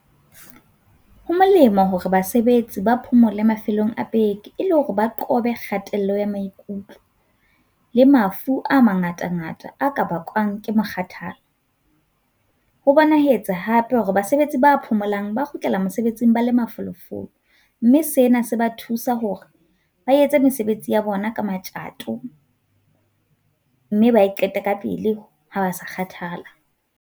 Ho molemo hore basebetsi ba phomole mafelong a beke e le hore ba qobe kgatello ya maikutlo le mafu a mangata ngata, a ka bakwang ke mokgathala. Ho bonahetse hape hore basebetsi ba phomolang ba kgutlela mosebetsing ba le mafolofolo mme sena se ba thusa hore ba etse mesebetsi ya bona ka matjato mme ba e qete ka pele ha ba sa kgathala.